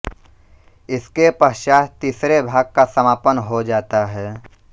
इसके पश्चात् तीसरे भाग का समापन हो जाता है